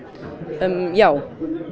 já